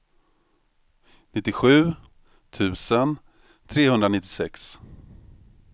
nittiosju tusen trehundranittiosex